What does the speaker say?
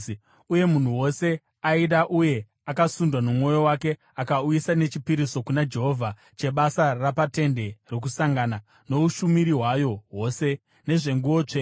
uye munhu wose aida uye akasundwa nomwoyo wake akauya nechipiriso kuna Jehovha chebasa rapaTende Rokusangana, noushumiri hwayo hwose, nezvenguo tsvene.